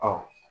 Ɔ